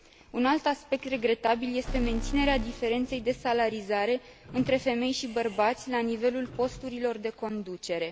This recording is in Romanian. Un alt aspect regretabil este menținerea diferenței de salarizare între femei și bărbați la nivelul posturilor de conducere.